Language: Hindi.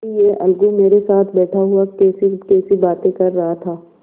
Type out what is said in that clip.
अभी यह अलगू मेरे साथ बैठा हुआ कैसीकैसी बातें कर रहा था